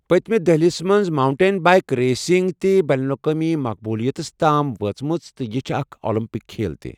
پٔتمہِ دٔہلِس منٛز ماؤنٹین بائیک ریسنگ تہِ بین الاقوٲمی مقبولیتَس تام وٲژمٕژ تہٕ یہِ چھُ اکھ اولمپک کھیل تہِ۔